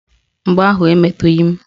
Mgbọ ahụ emetughi m